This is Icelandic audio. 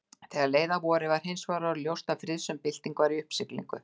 Þegar leið að vori var hinsvegar orðið ljóst að friðsöm bylting var í uppsiglingu.